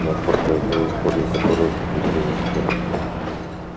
да после одной истории которая приключилась вчера